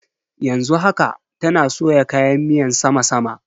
Yanzu haka, tana soya kayan miyan sama sama.